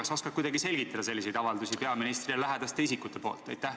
Kas sa oskad kuidagi selgitada selliseid avaldusi peaministrile lähedaste isikute poolt?